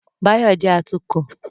Báyọ̀ jẹ́ atukọ̀